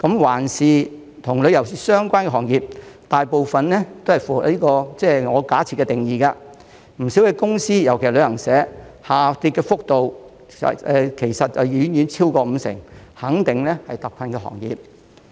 環顧與旅遊相關的行業，大部分也符合我假設的定義，不少公司下跌幅度其實遠超五成，肯定是特困行業。